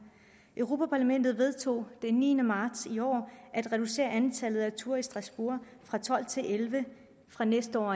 europa parlamentet vedtog den niende marts i år at reducere antallet af ture til strasbourg fra tolv til elleve fra næste år